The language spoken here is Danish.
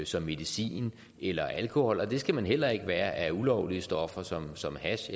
som medicin eller alkohol og det skal man heller ikke være af ulovlige stoffer som som hash